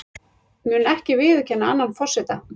Mun ekki viðurkenna annan forseta